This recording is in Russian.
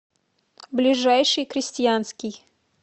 ближайший крестьянский